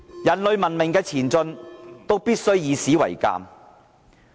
人類文明的前進，必須以史為鑒。